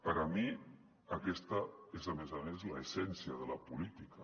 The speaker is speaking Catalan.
per a mi aquesta és a més a més l’essència de la política